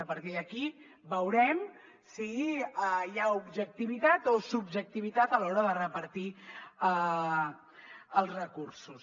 a partir d’aquí veurem si hi ha objectivitat o subjectivitat a l’hora de repartir els recursos